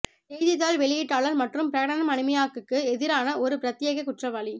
செய்தித்தாள் வெளியீட்டாளர் மற்றும் பிரகடனம் அடிமையாக்குக்கு எதிரான ஒரு பிரத்யேக குற்றவாளி